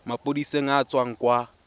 maphodiseng a a tswang kwa